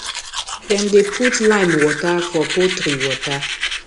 dem dey put lime water for poultry water